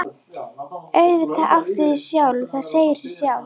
Auðvitað áttu þig sjálf, það segir sig sjálft.